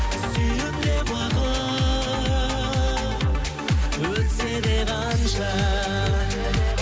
сүйемін де уақыт өтсе де қанша